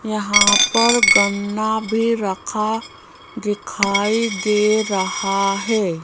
यहां पर गन्ना भी रखा दिखाई दे रहा है।